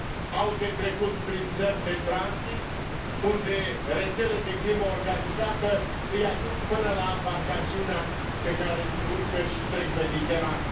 Au de trecut prin țări de tranzit, unde rețele de crimă organizată îi aduc până la ambarcațiunea pe care se urcă și trec Mediterana.